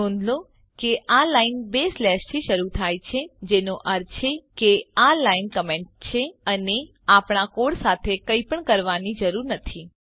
નોંધ લો કે આ લાઈન બે સ્લેશથી શરૂ થાય છે જેનો અર્થ એ છે કે આ લાઈન કમેન્ટ છે અને આપણા કોડ સાથે કઈપણ કરવાની જરૂર નથી